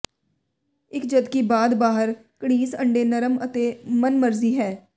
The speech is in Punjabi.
ਇੱਕ ਜਦਕਿ ਬਾਅਦ ਬਾਹਰ ਘੜੀਸ ਅੰਡੇ ਨਰਮ ਅਤੇ ਮਨਮਰਜ਼ੀ ਹੈ